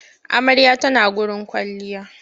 Amarya ta na gurin kwailliya.